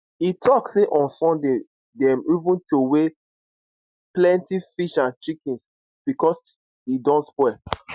e tok say on sunday dem even throw away plenty fish and chickens becos e don spoil